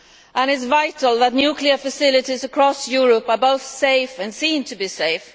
It is vital that nuclear facilities across Europe are both safe and seen to be safe.